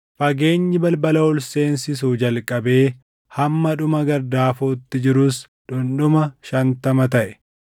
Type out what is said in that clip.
Fageenyi balbala ol seensisuu jalqabee hamma dhuma gardaafootti jirus dhundhuma shantama taʼe.